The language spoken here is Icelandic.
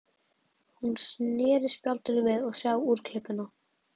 Hún sneri spjaldinu við og sá úrklippuna.